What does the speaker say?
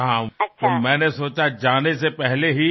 तर मला वाटले की रवाना होण्यापूर्वी